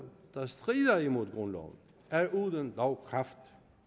der strider imod grundloven er uden lovkraft